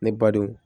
Ne ba dun